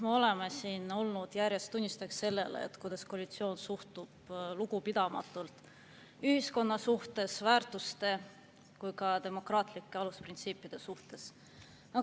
Me oleme siin olnud järjest tunnistajaks sellele, kuidas koalitsioon suhtub lugupidamatult nii ühiskonna väärtustesse kui ka demokraatlikesse alusprintsiipidesse.